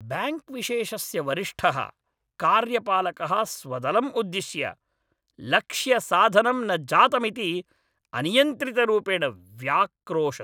Bank विशेषस्य वरिष्ठः कार्यपालकः स्वदलम् उद्दिश्य लक्ष्यसाधनं न जातमिति अनियन्त्रितरूपेण व्याक्रोशत्।